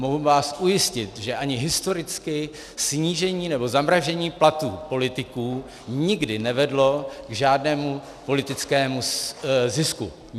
Mohu vás ujistit, že ani historicky snížení nebo zamražení platů politiků nikdy nevedlo k žádnému politickému zisku.